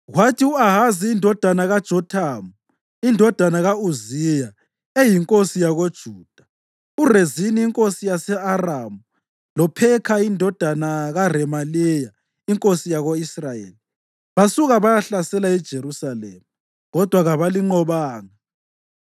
Kwathi u-Ahazi indodana kaJothamu, indodana ka-Uziya, eyinkosi yakoJuda, uRezini inkosi yase-Aramu loPhekha indodana kaRemaliya inkosi yako-Israyeli basuka bayahlasela iJerusalema, kodwa kabalinqobanga.